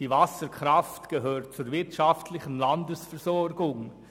Die Wasserkraft gehört zur wirtschaftlichen Landesversorgung.